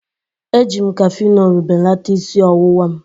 Eji m Kafinolu belata isi ọwụwa m.